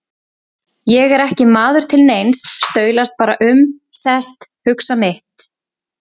Ég er ekki maður til neins, staulast bara um, sest, hugsa mitt.